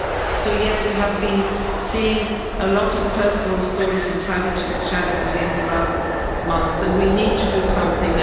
So yes, we have been seeing a lot of personal stories and tragedies in the last months and we need to do something.